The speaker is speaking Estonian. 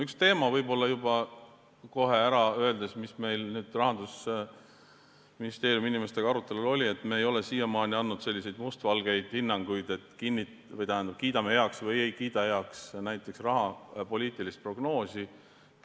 Üks teemasid, võib kohe ära öelda, mis meil Rahandusministeeriumi inimestega arutelul oli, oli see, et me ei ole siiamaani andnud mustvalgeid hinnanguid, et kiidame heaks või ei kiida heaks näiteks rahapoliitilist prognoosi.